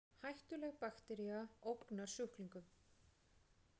Hættuleg baktería ógnar sjúklingum